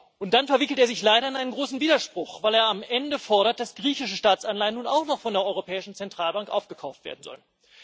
Und dann verwickelt er sich leider in einen großen Widerspruch, weil er am Ende fordert, dass griechische Staatsanleihen nun auch noch von der Europäischen Zentralbank aufgekauft werden sollen.